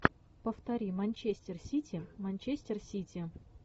повтори манчестер сити манчестер сити